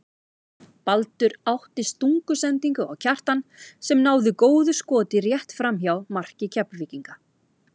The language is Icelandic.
Baldur átti stungusendingu á Kjartan sem náði góðu skoti rétt framhjá marki Keflvíkinga.